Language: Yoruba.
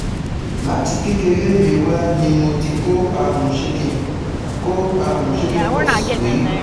Láti kékeré mi wá ni mo ti kó àrùn Chicken kó àrùn Chicken pox rí